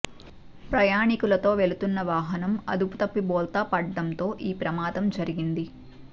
ప్రయాణికులతో వెళుతున్న వాహనం అదుపు తప్పి బోల్తా పడడంతో ఈ ప్రమాదం జరిగింది